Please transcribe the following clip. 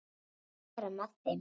Að vera með þeim.